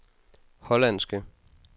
hollandske